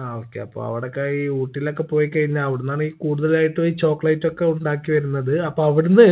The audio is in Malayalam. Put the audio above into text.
ആ okay അപ്പോ അവടൊക്കെ ഈ ഊട്ടീലോക്കെ പോയി കഴിഞ്ഞാ അവിടുന്നാണ് ഈ കൂടുതലായിട്ടും ഈ chocolate ഒക്കെ ഉണ്ടാക്കി വരുന്നത് അപ്പോ അവിടുന്ന്